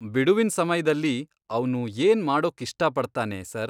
ಬಿಡುವಿನ್ ಸಮಯ್ದಲ್ಲಿ ಅವ್ನು ಏನ್ ಮಾಡೋಕ್ ಇಷ್ಟಪಡ್ತಾನೆ ಸರ್?